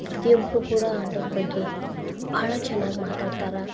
ಪ್ರತಿಒಬ್ರೂ ಕೂಡಾ ಆಟದ್ ಬಗ್ಗೆ ಭಾಳ ಚನಾಗ್ ಮಾತಾಡ್ತಾರಾ.